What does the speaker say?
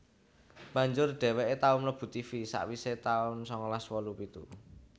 Banjur dheweke tau mlebu Tivi sakwise taun sangalas wolu pitu